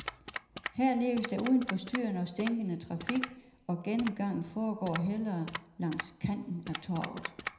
Her leves der uden forstyrrende og stinkende trafik, og gennemgangen foregår hellere langs kanten af torvet.